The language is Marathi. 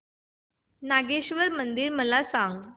नागेश्वर मंदिर मला सांग